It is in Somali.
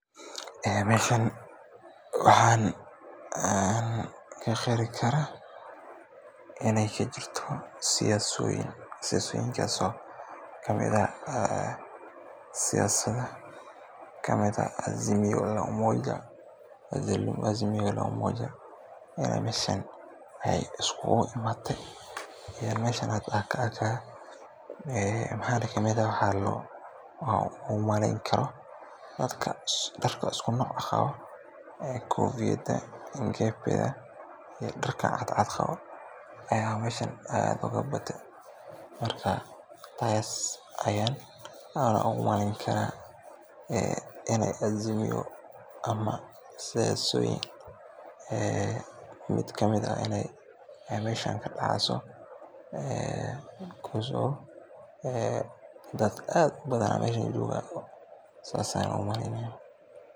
Ee meeshan waxaan ka qeexi karaa in ay ka jirto siyaasad, siyaasadahaas oo ka mid ah AZIMIO LA UMOJA. Meeshaan waxaa ka muuqda astaamo iyo dad taageersan ururkan siyaasadeed, waxaana la dareemi karaa in olole ama kulan siyaasadeed uu socdo. Waxaa sidoo kale muuqata calamo, dhar iyo boorar ay ku xardhan yihiin hal-ku-dhacyo iyo magaca AZIMIO LA UMOJA, taas oo muujinaysa in dadkani ay u taagan yihiin aragti gaar ah oo siyaasadeed. Meeshaan waa meel ay ka dhacayaan arrimo la xiriira wacyigelin, taageero urur siyaasadeed, iyo u diyaar garow doorasho ama shir weyn.